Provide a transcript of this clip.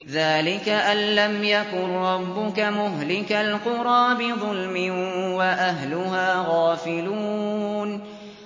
ذَٰلِكَ أَن لَّمْ يَكُن رَّبُّكَ مُهْلِكَ الْقُرَىٰ بِظُلْمٍ وَأَهْلُهَا غَافِلُونَ